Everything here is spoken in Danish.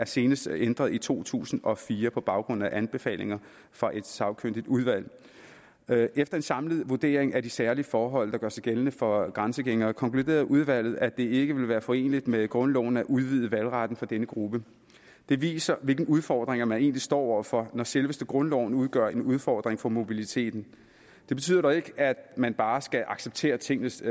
senest ændret i to tusind og fire på baggrund af anbefalinger fra et sagkyndigt udvalg efter en samlet vurdering af de særlige forhold der gør sig gældende for grænsegængere konkluderede udvalget at det ikke ville være foreneligt med grundloven at udvide valgretten for denne gruppe det viser hvilke udfordringer man egentlig står over for når selveste grundloven udgør en udfordring for mobiliteten det betyder dog ikke at man bare skal acceptere tingenes